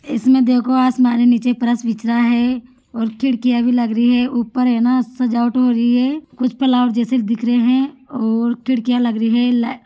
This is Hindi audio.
इसमें देखो आसमानी नीचे फर्श बिछ रा है और खिडकिया भी लग रही है उपर है ना सजावट हो रही है कुछ फ्लावर जेसे दिख रहे है और खिडकिया लग रही है लाईट --